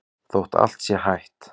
Þótt allt sé hætt?